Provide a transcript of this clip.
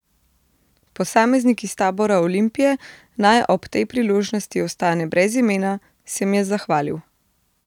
Posameznik iz tabora Olimpije, naj ob tej priložnosti ostane brez imena, se mi je zahvalil.